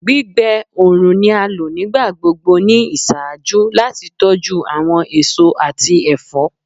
Gbigbe oorun ni a lo nigbagbogbo ni iṣaaju lati tọju awọn eso ati ẹfọ